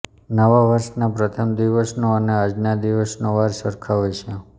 નવા વર્ષના પ્રથમ દિવસનો અને આજના દિવસનો વાર સરખા હોય છે